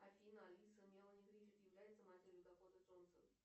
афина алиса мелани гриффит является матерью дакоты джонсон